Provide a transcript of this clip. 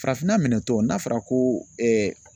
Farafinna minɛtɔ n'a fɔra ko